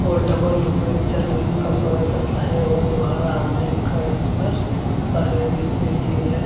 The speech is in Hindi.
और डबल स्वागत करता है और दुबारा आने का इंतज़ार करता है जिससे की वह --